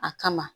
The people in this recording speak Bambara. A kama